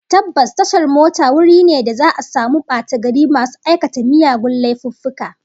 Tabbas, tashar mota wuri ne da za'a samu batagari masu aikata miyagun laifuffuka